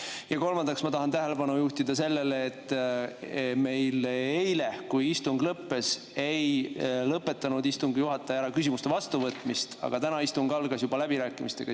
Ja kolmandaks ma tahan tähelepanu juhtida sellele, et eile, kui istung lõppes, ei lõpetanud istungi juhataja ära küsimuste vastuvõtmist, aga täna algas istung juba läbirääkimistega.